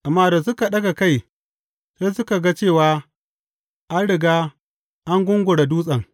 Amma da suka ɗaga kai, sai suka ga cewa, an riga an gungura dutsen.